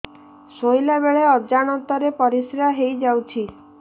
ଶୋଇଲା ବେଳେ ଅଜାଣତ ରେ ପରିସ୍ରା ହେଇଯାଉଛି